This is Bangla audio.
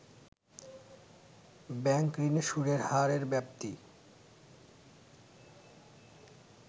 ব্যাংক ঋণে সুদের হারের ব্যাপ্তি